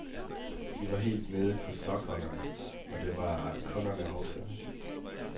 Vi var helt nede på sokkeholderne, og det var kunderne også.